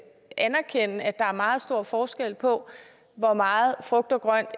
der er meget stor forskel på hvor meget frugt og grønt